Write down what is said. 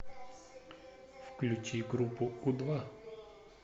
включи группу у два